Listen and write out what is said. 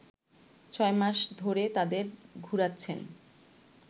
ছয় মাস ধরে তাদের ঘুরাচ্ছেন